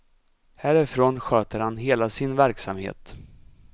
Härifrån sköter han hela sin verksamhet.